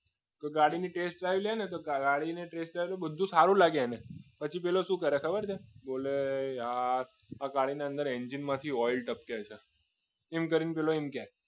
તો ગાડીની test dirve લેવી હોય ને તો ગાડીનો test drive માં બધું સારું લાગે એને પછી પેલો શું કરે ખબર છે બોલે યાર આ ગાડી ની અંદર એન્જિનમાંથી ઓઇલ ટપકે છે clean કરીને પેલો એમ કે